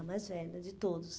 A mais velha de todos.